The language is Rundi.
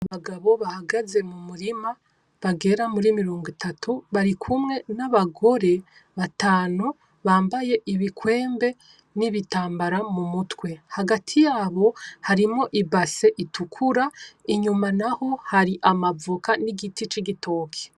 Abagabo bahagaze mu murima bagera muri mirongo itatu, bari kumwe n'abagore batantu bambaye ibikwembe n'ibitambara mu mutwe. Hagati yabo harimwo ibase itukura inyuma naho hari amavoka n'igiti c'igitoke.